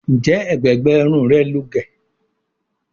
Njé ègbé gbé Irun rẹ ló gé?